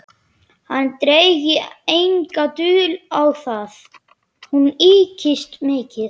Hann drægi enga dul á það: hún ykist mikið.